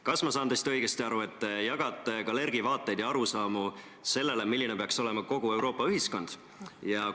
Kas ma saan teist õigesti aru, et te jagate Kalergi vaateid ja arusaamu sellest, milline peaks olema kogu Euroopa ühiskond?